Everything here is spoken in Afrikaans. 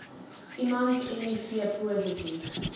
iemand miv positief